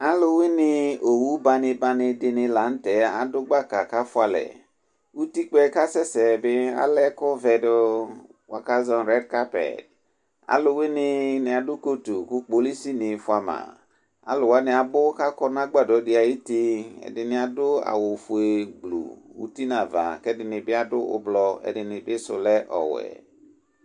Aluwuini owu bani bani adu gbaka ku afualɛ utikpa yɛ asɛsɛ bi ala ɛkuvɛ du buaku azɔ rɛd kapɛ aluwuini wani adu kotu ku kpolis fua ma aluwani abu kadu agbadɔ di ayuti ɛdini adu awu fue uti nava ɛdini adu ublɔ ɛdini si lɛ ɔwɛ